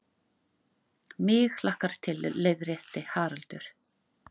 MIG hlakkar til, leiðrétti Haraldur.